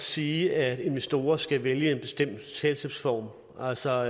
sige at investorer skal vælge en bestemt selskabsform altså